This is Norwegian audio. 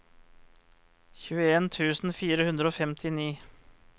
tjueen tusen fire hundre og femtini